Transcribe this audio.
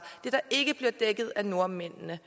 det der ikke bliver dækket af nordmændene